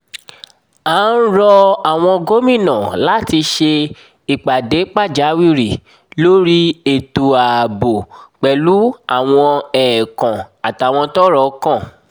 a ń rọ àwọn gómìnà láti ṣe ìpàdé pàjáwìrì lórí ètò ààbò pẹ̀lú àwọn ẹ̀ẹ̀kan àtàwọn tọ́rọ̀ kàn